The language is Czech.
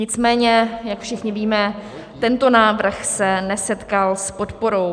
Nicméně jak všichni víme, tento návrh se nesetkal s podporou.